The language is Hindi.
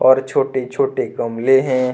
और छोटे छोटे गमले है।